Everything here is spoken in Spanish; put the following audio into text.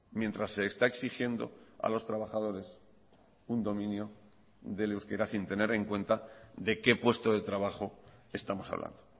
mientras se está exigiendo a los trabajadores un dominio del euskera sin tener en cuenta de qué puesto de trabajo estamos hablando